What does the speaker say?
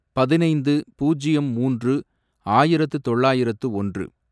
பதினைந்து, பூஜ்யம் மூன்று, ஆயிரத்து தொள்ளாயிரத்து ஒன்று